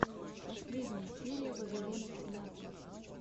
последняя серия вавилона тринадцать